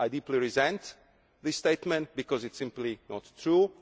I deeply resent this statement because it is simply not true.